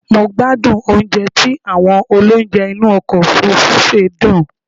Mo gbádùn oúnjẹ tí àwọn olounje inú ọkọ̀ òfurufú sè dùn